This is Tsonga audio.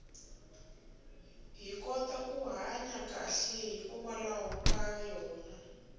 hi kota ku hanya kahle hikwalaho ka yona